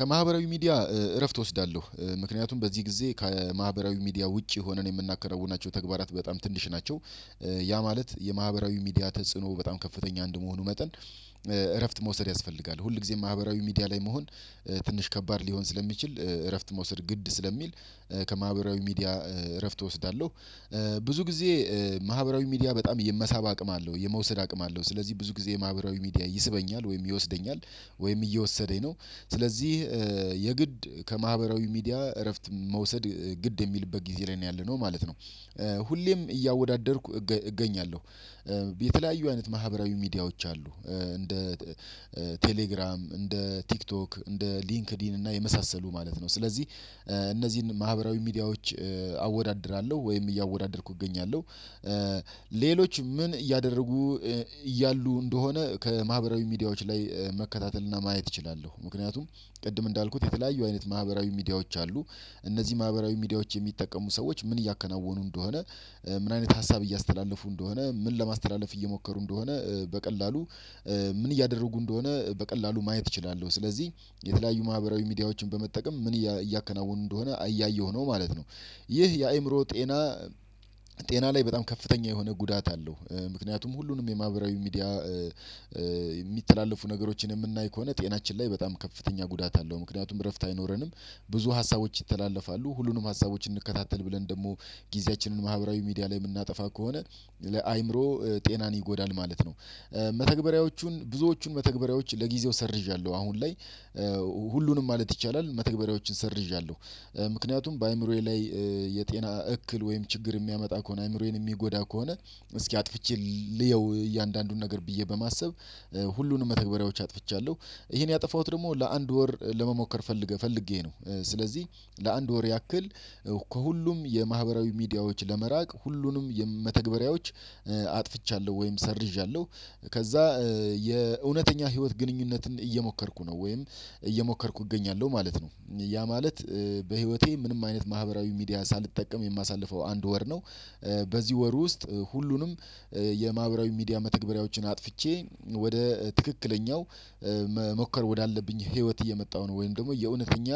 ከማህበራዊ ሚዲያ እረፍት እወስዳለሁ። ምክንያቱም በዚህ ጊዜ ከማህበራዊ ሚዲያ ውጪ ሆነን የምናከናውናቸው ተግባራት በጣም ትንሽ ናቸው። ያ ማለት የማህበራዊ ሚዲያ ተጽዕኖ በጣም ከፍተኛ እንድመሆኑ መጠን እረፍት መውሰድ ያስፈልጋል ሁል ጊዜም ማህበራዊ ሚዲያ ላይ መሆን ትንሽ ከባድ ሊሆን ስለሚችል እረፍት መውሰድ ግድ ስለሚል ከማህበራዊ ሚዲያ እረፍት እወስዳለሁ። ብዙ ጊዜ ማህበራዊ ሚዲያ በጣም የመሳብ አቅም አለው የመውሰድ አቅም አለው። ስለዚህ ብዙ ጊዜ ማህበራዊ ሚዲያ ይስበኛል ወይም ይወስደኛል ወይም እየወሰደኝ ነው። ስለዚህ የግድ ከማህበራዊ ሚዲያ እረፍት መውሰድ ግድ የሚልበት ጊዜ ላይ ነው ያለነው ማለት ነው። ሁሌም እያወዳደርኩ እገኛለሁ የተለያዩ አይነት ማህበራዊ ሚዲያዎች አሉ። እንደ ቴሌግራም፣ እንደ ቲክቶክ፣ እንደ ሊንክዲን እና የመሳሰሉ ማለት ነው። ስለዚህ እነዚህን ማህበራዊ ሚዲያዎች አወዳድራለሁ ወይም እያወዳደርኩ እገኛለሁ። ምን እያደረጉ እያሉ እንደሆነ ከማህበራዊ ሚዲያዎች ላይ መከታተል እና ማየት እችላለሁ። ምክንያቱም ቅድም እንዳልኩት የተለያዩ አይነት ማህበራዊ ሚዲያዎች አሉ። እነዚህ ማህበራዊ ሚዲያዎች የሚጠቀሙ ሰዎች ምን እያከናወኑ እንደሆነ ምን አይነት ሀሳብ እያስተላለፉ እንደሆነ ምን ለማስተላለፍ እየሞከሩ እንደሆነ በቀላሉ ምን እያደረጉ እንደሆነ በቀላሉ ማየት እችላለሁ። ስለዚህ የተለያዩ ማህበራዊ ሚዲያዎችን በመጠቀም ምን እያ እያከናወኑ እንደሆነ እያየሁ ነው ማለት ነው። ይህ የአእምሮ ጤና ጤና ላይ በጣም ከፍተኛ የሆነ ጉዳት አለው። ምክንያቱም ሁሉንም የማህበራዊ ሚዲያ የሚተላለፉ ነገሮችን የምናይ ከሆነ ጤናችን ላይ በጣም ከፍተኛ ጉዳት አለው። ምክንያቱም እረፍት አይኖረንም ብዙ ሀሳቦች ይተላለፋሉ ሁሉንም ሀሳቦች እንከታተል ብለን ደግሞ ጊዜያችንን ማህበራዊ ሚዲያ ላይ የምናጠፋ ከሆነ ለአእምሮ ጤናን ይጎዳል ማለት ነው። መተግበሪያዎቹን ብዙዎቹን መተግበሪያዎች ለጊዜው ሰርዣለሁ አሁን ላይ ሁሉንም ማለት ይቻላል መተግበሪያዎችን ሰርዣለሁ። ምክንያቱም በአእምሮዬ ላይ የጤና እክል ወይም ችግር የሚያመጣ ከሆነ አእምሮዬን የሚጎዳ ከሆነ እስኪ አጥፍቼ ልየው እያንዳንዱን ነገር ብዬ በማሰብ ሁሉንም መተግበሪያዎች አጥፍቻለሁ። ይሄን ያጠፋሁት ደግሞ ለአንድ ወር ለመሞከር ፈልገ ፈልጌ ነው። ስለዚህ ለአንድ ወር ያክል ከሁሉም የማህበራዊ ሚዲያዎች ለመራቅ ሁሉንም መተግበሪያዎች አጥፍቻለሁ ወይም ሰርዣለሁ ከዛ የእውነተኛ ህይወት ግንኙነትን እየሞከርኩ ነው። ወይም እየሞከርኩ እገኛለሁ ማለት ነው። ያ ማለት በህይወቴ ምንም አይነት ማህበራዊ ሚዲያ ሳልጠቀም የማሳልፈው አንድ ወር ነው። በዚህ ወር ውስጥ ሁሉንም የማህበራዊ ሚዲያ መተግበሪያዎችን አጥፍቼ ወደ ትክክለኛው መሞከር ወዳለብኝ ህይወት እየመጣሁ ነው ወይም ደግሞ የእውነተኛ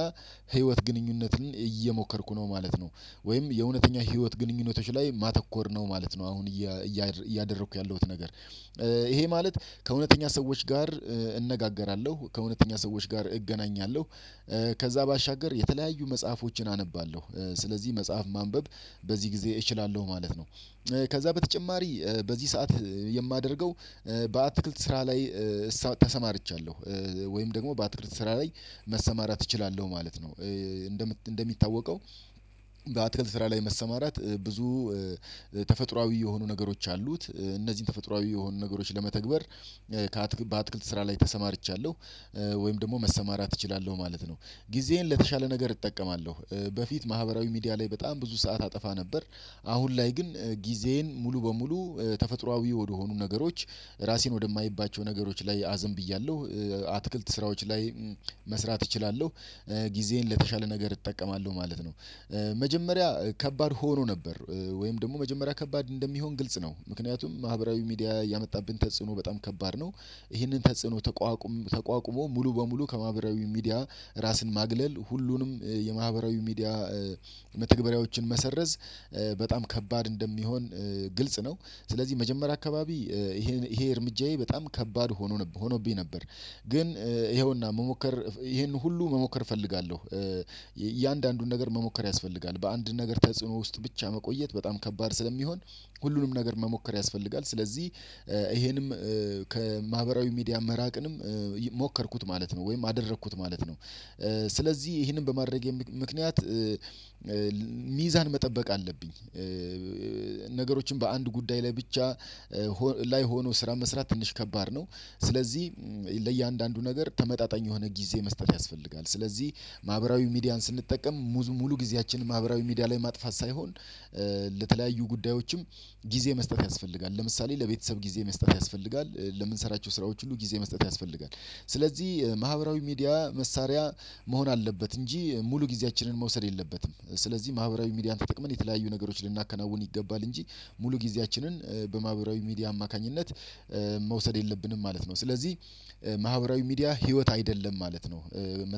ህይወት ግንኙነትን እየሞከርኩ ነው ማለት ነው ወይም የእውነተኛ ህይወት ግንኙነቶች ላይ ማተኮር ነው ማለት ነው አሁን እያደረኩ ያለሁት ነገር። ይሄ ማለት ከእውነተኛ ሰዎች ጋር እነጋገራለሁ ከእውነተኛ ሰዎች ጋር እገናኛለሁ ከዛ ባሻገር የተለያዩ መጽሐፎችን አነባለሁ ስለዚህ መጽሐፍ ማንበብ በዚህ ጊዜ እችላለሁ ማለት ነው። ከዛ በተጨማሪ በዚህ ሰዓት የማደርገው በአትክልት ስራ ላይ እሳ ተሰማርቻለሁ ወይም ደግሞ በአትክልት ስራ ላይ መሰማራት እችላለሁ ማለት ነው። እንደሚታወቀው በአትክልት ስራ ላይ መሰማራት ብዙ ተፈጥሮአዊ የሆኑ ነገሮች አሉት እነዚህን ተፈጥሮአዊ የሆኑ ነገሮች ለመተግበር ከአትክ በአትክልት ስራ ላይ ተሰማርቻለሁ ወይም ደግሞ መሰማራት እችላለሁ ማለት ነው። ጊዜዬን ለተሻለ ነገር እጠቀማለሁ። በፊት ማህበራዊ ሚዲያ ላይ በጣም ብዙ ሰዓት አጠፋ ነበር አሁን ላይ ግን ጊዜዬን ሙሉ በሙሉ ተፈጥሮአዊ ወደሆኑ ነገሮች ራሴን ወደማይባቸው ነገሮች ላይ አዘንብያለሁ። አትክልት ስራዎች ላይ መስራት እችላለሁ። ጊዜዬን ለተሻለ ነገር እጠቀማለሁ ማለት ነው። መጀመሪያ ከባድ ሆኖ ነበር ወይም ደግሞ መጀመሪያ ከባድ እንደሚሆን ግልጽ ነው ምክንያቱም ማህበራዊ ሚዲያ ያመጣብን ተጽዕኖ በጣም ከባድ ነው ይህንን ተጽዕኖ ተቋቁሞ ሙሉ በሙሉ ከማህበራዊ ሚዲያ ራስን ማግለል ሁሉንም የማህበራዊ ሚዲያ መተግበሪያዎችን መሰረዝ በጣም ከባድ እንደሚሆን ግልጽ ነው። ስለዚህ መጀመሪያ አካባቢ ይሄ ይሄ እርምጃዬ በጣም ከባድ ሆኖ ነበ ሆኖብኝ ነበር፤ ግን ይኸውና መሞከር ይሄን ሁሉ መሞከር እፈልጋለሁ። እያንዳንዱን ነገር መሞከር ያስፈልጋል። በአንድ ነገር ተጽዕኖ ውስጥ ብቻ መቆየት በጣም ከባድ ስለሚሆን ሁሉንም ነገር መሞከር ያስፈልጋል። ስለዚህ ይሄንም ከማህበራዊ ሚዲያ መራቅንም ሞከርኩት ማለት ነው ወይም አደረኩት ማለት ነው። ስለዚህ ይህንን በማድረጌ ምክንያት ሚዛን መጠበቅ አለብኝ። ነገሮችን በአንድ ጉዳይ ላይ ብቻ ላይ ሆኖ ስራ መስራት ትንሽ ከባድ ነው። ስለዚህ ለእያንዳንዱ ነገር ተመጣጣኝ የሆነ ጊዜ መስጠት ያስፈልጋል ስለዚህ ማህበራዊ ሚዲያን ስንጠቀም ሙዙ ሙሉ ጊዜያችንን ማህበራዊ ሚዲያ ላይ ማጥፋት ሳይሆን ለተለያዩ ጉዳዮችም ጊዜ መስጠት ያስፈልጋል። ለምሳሌ ለቤተሰብ ጊዜ መስጠት ያስፈልጋል። ለምንሰራቸው ስራዎች ሁሉ ጊዜ መስጠት ያስፈልጋል። ስለዚህ ማህበራዊ ሚዲያ መሳሪያ መሆን አለበት እንጂ ሙሉ ጊዜያችንን መውሰድ የለበትም። ስለዚህ ማህበራዊ ሚዲያን ተጠቅመን የተለያዩ ነገሮችን ልናከናውን ይገባል እንጂ ሙሉ ጊዜያችንን በማህበራዊ ሚዲያ አማካኝነት መውሰድ የለብንም ማለት ነው። ስለዚህ ማህበራዊ ሚዲያ ህይወት አይደለም ማለት ነው።